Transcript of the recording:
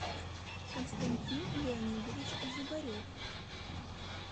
константин леонидович зубарев